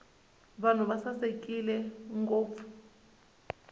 vanhu va sasekile ngopfu